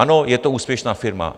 Ano, je to úspěšná firma.